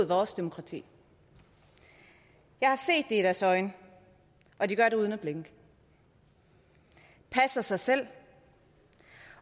vores demokrati jeg har set det i deres øjne og de gør det uden at blinke de passer sig selv